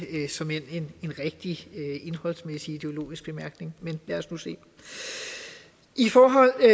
en rigtig indholdsmæssig ideologisk bemærkning men lad os nu se i forhold til